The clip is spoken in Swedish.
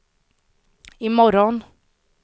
imorgon